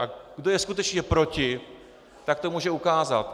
A kdo je skutečně proti, tak to může ukázat.